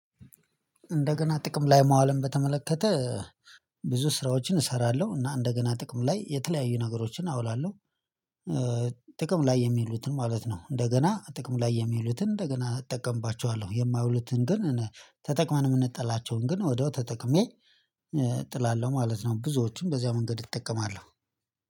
እንደገና ጥቅም ላይ ማዋልን በተመለከተ ብዙ ስራዎችን እሰራለሁ እና እንደገና ጥቅም ላይ የተለያዩ ነገሮችን አውላለሁ። ጥቅም ላይ የሚሉትን ማለት ነው እንደገና ጥቅም ላይ የሚሉትን እንደገና እጠቀምባቸዋለሁ የማይሉትን ግን ተጠቅመን የምንጠላቸውን ግን ወደው ተጠቅሜ እጥላለሁ ማለት ነው። ብዙዎችም በዚያ መንገድ እጠቀማለሁ